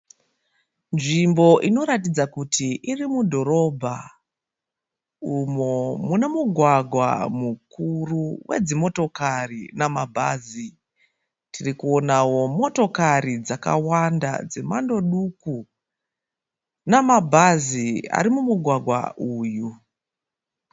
Nzvimbo inoratidza kuti iri mudhorobha umo muno mugwagwa mukuru wedzimotokari namabhazi. Tirikonawo motokari dzakawanda dzemhando duku namabhazi ari mumugwagwa uyu.